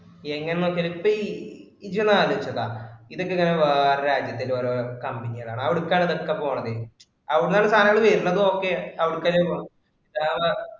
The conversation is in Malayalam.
എങ്ങിനെ നോക്കിയാലും ഇപ്പം ഇജ്ജ് ഒന്ന് ആലോചിച്ചു നോക്കുക. ഇതൊക്കെ ഇങ്ങനെ വേറെ രാജ്യത്തെ ഓരോ company കളാണ് അവർക്കാണ് ഇതൊക്കെ പോണത്. അവിടുന്നാണ് സാധനം വരിണതും, ok outside ആ പോവുക